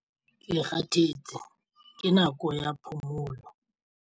Ke kgathetse ke nako ya phomolo.